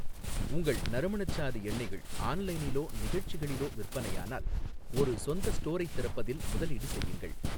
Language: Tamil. உங்கள் நறுமணச்சாறு எண்ணெய்கள் ஆன்லைனிலோ நிகழ்ச்சிகளிலோ விற்பனையானால், ஒரு சொந்த ஸ்டோரைத் திறப்பதில் முதலீடு செய்யுங்கள்.